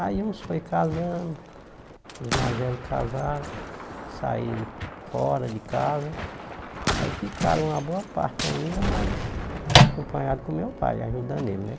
Aí uns foi casando, os mais velhos casaram, saíram fora de casa, aí ficaram uma boa parte ainda, mas acompanhado com meu pai, ajudando ele, né?